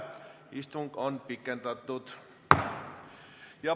Istungit on pikendatud.